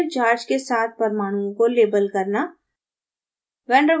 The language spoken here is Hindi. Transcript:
partial charge के साथ परमाणुओं को label करना